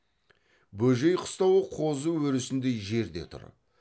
бөжей қыстауы қозы өрісіндей жерде тұр